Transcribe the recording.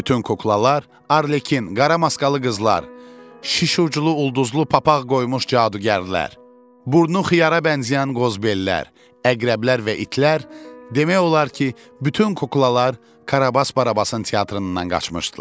Bütün kuklalar, Arlekin, qara maskalı qızlar, şiş uclu ulduzlu papaq qoymuş cadugərlər, burnu xiyara bənzəyən qozbellər, əqrəblər və itlər, demək olar ki, bütün kuklalar Karabas Barabasın teatrından qaçmışdılar.